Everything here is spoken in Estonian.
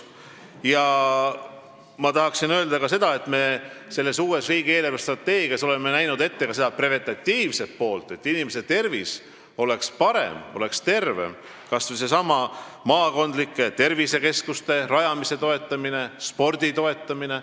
Ma tahaksin öelda ka seda, et oleme uues riigi eelarvestrateegias näinud ette rohkem preventatiivset poolt – et inimeste tervis oleks parem, et nad oleksid tervemad –, kas või seesama maakondlike tervisekeskuste rajamise toetamine ja spordi toetamine.